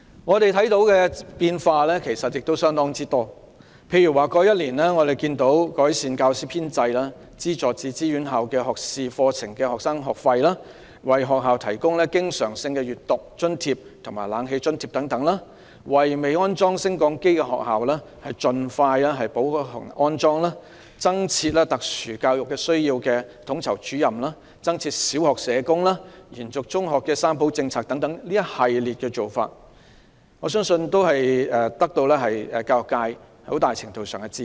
我們看到的變化其實亦相當多，例如在過去1年，政府改善了教師編制；資助自資院校學士課程學生的學費；為學校提供經常性閱讀津貼及冷氣津貼等；為未安裝升降機的學校盡快安裝；增設特殊教育需要統籌主任；增設小學社工；延續中學的"三保政策"等，我相信這一系列做法均獲得教育界很大程度的支持。